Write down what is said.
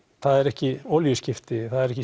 það eru ekki olíuskipti það eru ekki